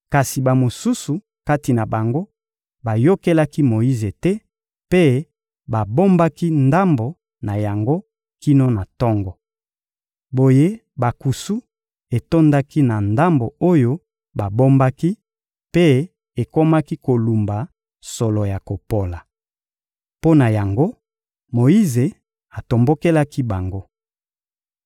Kasi bamosusu kati na bango bayokelaki Moyize te mpe babombaki ndambo na yango kino na tongo. Boye bankusu etondaki na ndambo oyo babombaki, mpe ekomaki kolumba solo ya kopola. Mpo na yango, Moyize atombokelaki bango.